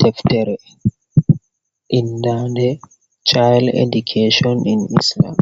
Deftere, indande Chayel Edukachon in Islam.